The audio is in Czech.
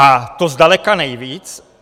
A to zdaleka nejvíc.